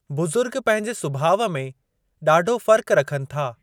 बुज़ुर्ग पंहिंजे सुभाउ में ॾाढो फ़र्क रखनि था।